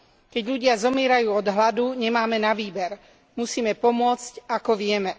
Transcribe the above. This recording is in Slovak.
Keď ľudia zomierajú od hladu, nemáme na výber musíme pomôcť ako vieme.